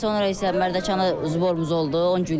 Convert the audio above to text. Və sonra isə Mərdəkana toplanışımız oldu.